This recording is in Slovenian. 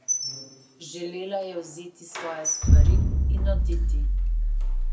Želela je vzeti svoje stvari in oditi.